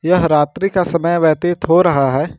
यह रात्रि का समय व्यतीत हो रहा है।